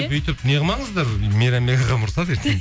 бүйтіп неғылмаңыздар мейрамбек ағам ұрысады ертең